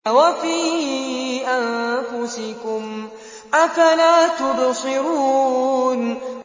وَفِي أَنفُسِكُمْ ۚ أَفَلَا تُبْصِرُونَ